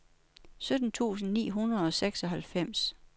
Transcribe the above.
sytten tusind ni hundrede og seksoghalvfems